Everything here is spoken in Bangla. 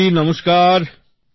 ময়ূর জি নমস্কার